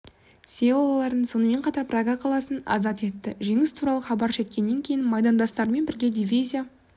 селоларын сонымен қатар прага қаласын азат етті жеңіс туралы хабар жеткеннен кейін майдандастарымен бірге дивизия